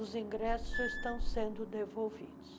Os ingressos já estão sendo devolvidos.